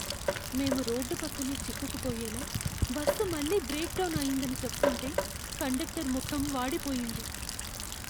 మేము రోడ్డు పక్కనే చిక్కుకుపోయేలా, బస్సు మళ్ళీ బ్రేక్ డౌన్ అయిందని చెప్తుంటే కండక్టర్ ముఖం వాడిపోయింది.